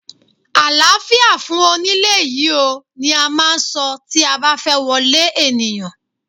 Àláfíà fún onílé yìí oo! ni a máà ń so tí a ba fẹ́ wọlé ènìyàn.